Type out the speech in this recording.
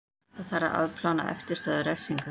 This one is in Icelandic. Þarf að afplána eftirstöðvar refsingar